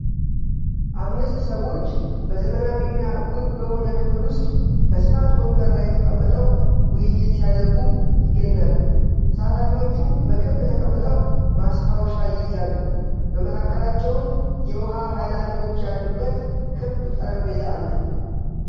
አምስት ሰዎች በዘመናዊና ውብ በሆነ ክፍል ውስጥ በስፋት ወንበር ላይ ተቀምጠው ውይይት ሲያደርጉ ይገኛሉ። ተሳታፊዎቹ በክብ ተቀምጠው ማስታወሻ ይይዛሉ፤ በመካከላቸውም የውሃ ሃይላንዶች ያሉበት ክብ ጠረጴዛ አለ።